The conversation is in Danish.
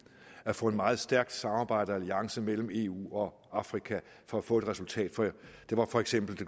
at få et meget stærkt samarbejde og en alliance mellem eu og afrika for at få et resultat for eksempel i